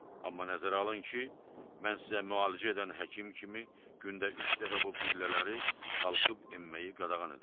Amma nəzərə alın ki, mən sizə müalicə edən həkim kimi gündə üç dəfə bu pillələri qalxıb enməyi qadağan edirəm.